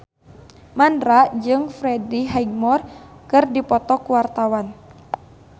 Mandra jeung Freddie Highmore keur dipoto ku wartawan